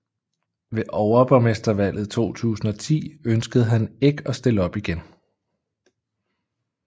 Ved overborgmestervalget 2010 ønskede han ikke at stille op igen